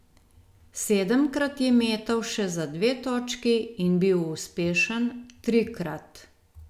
Sedemkrat je metal še za dve točki in bil uspešen trikrat.